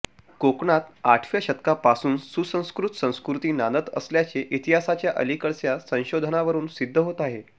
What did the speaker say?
कोकणात आठव्या शतकापासून सुसंस्कृत संस्कृती नांदत असल्याचे इतिहासाच्या अलीकडच्या संशोधनावरून सिद्ध होत आहे